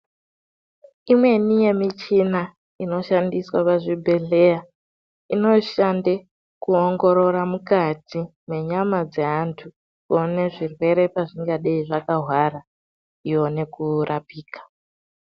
Imweni yemichina inoshandiswa pachibhedhleya inoshande kuongorora mukati menyama dzeantu kuone zvirwere pazvingadei zvakahwara ione kurapika.